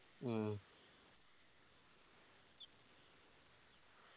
മ്മ്